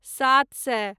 सात सए